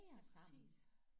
Ja præcis